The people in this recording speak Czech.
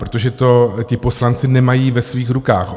Protože to ti poslanci nemají ve svých rukách.